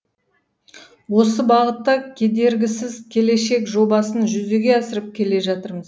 осы бағытта кедергісіз келешек жобасын жүзеге асырып келе жатырмыз